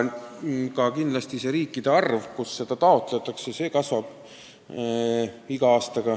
Kindlasti kasvab iga aastaga nende riikide arv, kust seda taotletakse.